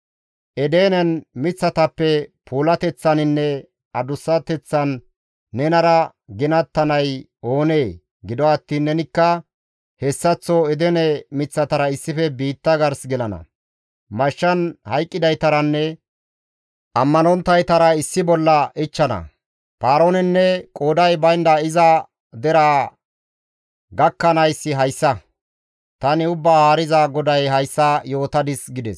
«Edenen miththatappe puulateththaninne adussateththan nenara ginattanay oonee? Gido attiin nenikka hessaththo Edene miththatara issife biitta gars gelana; mashshan hayqqidaytaranne ammanonttaytara issi bolla ichchana. «Paaroonenne qooday baynda iza deraa gakkanayssi hayssa; tani Ubbaa Haariza GODAY hayssa yootadis» gides.